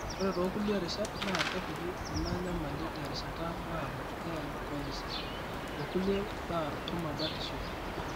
ore toolulie rishat naa kepuku enaa enyamali terishata naado e alcoholism o kulie baa ormabarishoi.